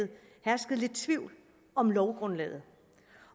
hersket lidt tvivl om lovgrundlaget